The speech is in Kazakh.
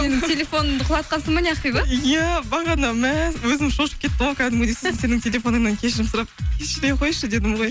менің телефонымды құлатқансың ба не ақбибі иә бағана мә өзім шошып кеттім ғой кәдімгідей сосын сенің телефоныңнан кешірім сұрап кешіре қойшы дедім ғой